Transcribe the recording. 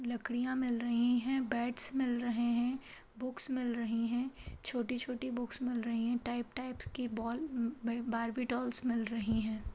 लकड़ियाँ मिल रही हैं बैट्स मिल रहे हैं बुक्स मिल रही हैं छोटी-छोटी बुक्स मिल रही हैं टाइप टाइप्स कि बॉल बार्बी डॉल्स मिल रही हैं।